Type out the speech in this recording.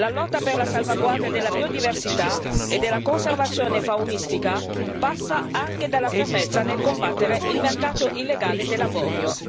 La lotta per la salvaguardia della biodiversità e della conservazione faunistica passa anche dalla fermezza nel combattere il mercato illegale dell'avorio.